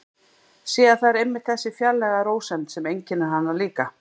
Sé að það er einmitt þessi fjarlæga rósemd sem einkennir hana líka.